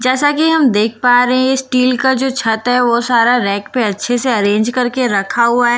जैसा की हम देख पा रहे हैं स्टील का जो छत है वो सारा रैक पे अच्छे से अरेंज करके रखा हुआ है।